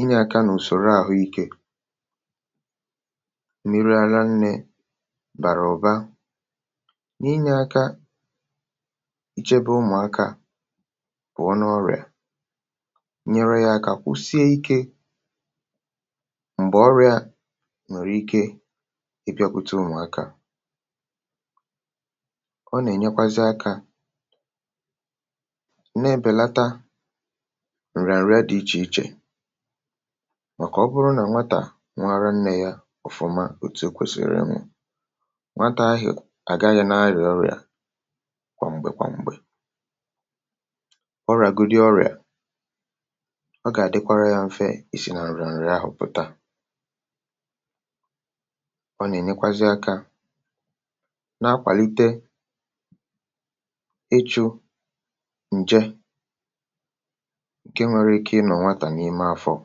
inyė aka nà ùsòro àhụ ike bàrà ụ̀ba, n’inyė aka ichebe ụmụ̀akȧ pụ̀ọ n’ọrị̀à, nyere yȧ aka kwụsie ikė m̀gbè ọrị̇ȧ nwèrè ike ịbịȧkwụta ụmụ̀akȧ. ọ nà-ènyekwazị akȧ na-ebèlata ǹrị̀à ǹrịa dị ichè ichè, màkà ọ bụrụ nà nwatà nwaara nnė yȧ, à gaghị̇ n’adị̀ ọrịà kwà m̀gbè kwà m̀gbè ọ ràgudi ọrịà, ọ gà-àdịkwarȧ yȧ mfe. ì sì nà ọ̀rịà ahụ̀ pùta, ọ nà-ènyekwazị akȧ nà-akwàlite ịchụ̇ ǹje ǹke nwere ike ịnọ̀ nwatà n’ime afọ̀.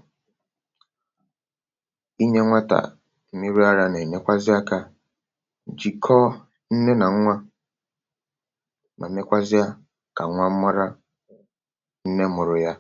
inye nwatà nne nà nwa, um mà nekwazịa kà nwa mmụrụ nne mụ̀rụ̀ ya.